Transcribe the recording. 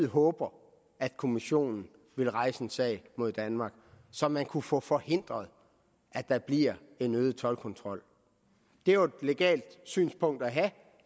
håber at kommissionen vil rejse en sag mod danmark så man kunne få forhindret at der bliver den øgede toldkontrol det er jo et legalt synspunkt at have